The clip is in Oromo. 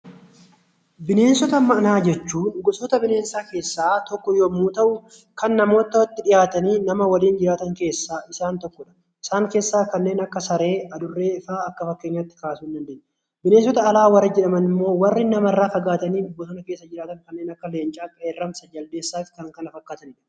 Bineensota manaa jechuun gosoota bineensaa keessaa tokko yommuu ta'u, kan namootatti dhiyaatanii nama waliin dhiyaatan keessaa isaan tokko dha. Isaan keessaa kanneen akka saree, adurree faa akka fakkeenyaatti kaasuu ni dandeenya. Bineensota alaa warri jedhaman immoo warra namarraa fagaatanii bosona keessa jiraatan kanneen akka leencaa, qeerransa, jaldeessaa fi kan kana fakkaatanii dha.